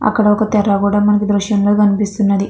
అక్కడొక తెర కూడా మనకి దృశ్యంలో కనిపిస్తున్నది.